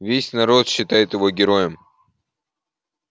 весь народ считает его героем